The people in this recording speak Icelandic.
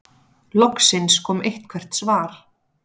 Loksins kom eitthvert svar.